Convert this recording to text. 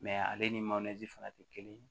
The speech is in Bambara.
ale ni fana tɛ kelen ye